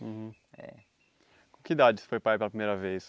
Com com que idade você foi para ir pela primeira vez?